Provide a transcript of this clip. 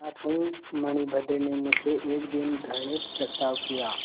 अनाथ हूँ मणिभद्र ने मुझसे एक दिन घृणित प्रस्ताव किया